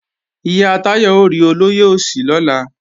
Ìyá Táyọ̀ ó rí olóyè Òsì lọ́la